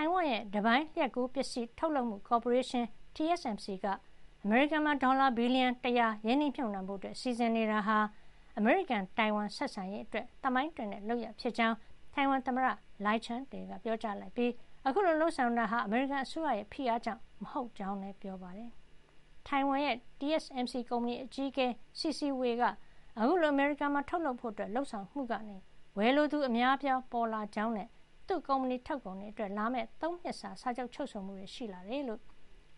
ိုင်ဝမ်ရဲ့ တပိုင်းလျှပ်ကူးပစ္စည်း ထုတ်လုပ်မှု ကော်ပိုရေးရှင်း TSMC က အမေရိကန်မှာ ဒေါ်လာ ဘီလီယံ ၁၀၀ ရင်းနှီးမြှုပ်နှံဖို့ စီစဉ်နေတာဟာ အမေရိကန်- တိုင်ဝမ်ဆက်ဆံရေး အတွက် သမိုင်းတွင်တဲ့ လုပ်ရပ်ဖြစ်ကြောင်း တိုင်ဝမ်သမ္မတ Lai Ching-te က ပြောကြားလိုက်ပြီး အခုလို လုပ်ဆောင်တာဟာ အမေရိကန်အစိုးရ ရဲ့ ဖိအားကြောင့် မဟုတ်ကြောင်းလည်း ပြောပါတယ်။ တိုင်ဝမ် TSMC ကုမ္ပဏီ အကြီးအကဲ C.C. Wei က အခုလို အမေရိကန်မှာ ထုတ်လုပ်ဖို့ လုပ်ဆောင်မှုကနေ ဝယ်လိုသူ အများအပြားပေါ်လာ ကြောင်းနဲ့ သူ့ကုမ္ပဏီထုတ်ကုန်တွေ အတွက် လာမယ့် ၃ နှစ်စာ စာချုပ် ချုပ်ဆိုမှုတွေ ရှိလာတယ်လို့